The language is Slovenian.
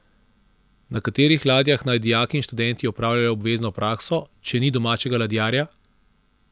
Na katerih ladjah naj dijaki in študenti opravljajo obvezno prakso, če ni domačega ladjarja?